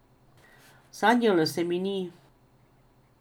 Sanjalo se mi ni.